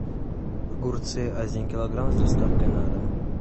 огурцы один килограмм с доставкой на дом